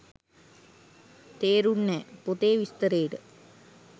තෙරුන්නෑ! පොතේ විස්තරේට